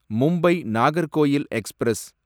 Mumbai Nagercoil express